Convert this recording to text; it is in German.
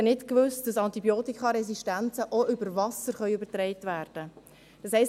Ich habe nicht gewusst, dass Antibiotikaresistenzen auch übers Wasser übertragen werden können.